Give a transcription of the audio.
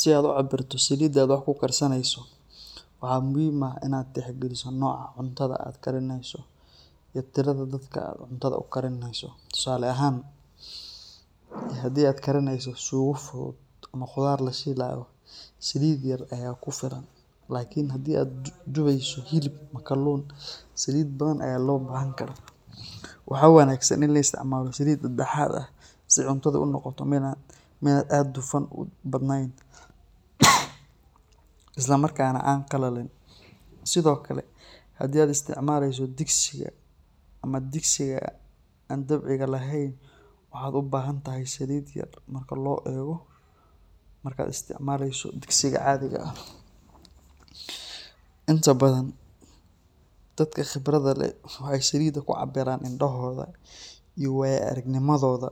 Si aad u cabirto salida aad wax ku karsaneyso waxaa muhiim ah in aad tix galiso noca cuntada aad karineyso tusale ahan hadii aad karineyso qudhaar salid yar aya kufilan lakin hadii aad duweyso kalun saliid badan aya lo bahan karaa waxaa wanagsan in laisticmalo salida daxadha si cuntadha ee u noqoto miid isla markana an qalalin, sithokale hadii aad isticmaleyso digsiga ama digsiga an dabci lehen waxaa lobahanaya salid an badnen inta badan fadka qibraada leh waxee ku cabiran salida indahodha iyo waya aragnimadoda,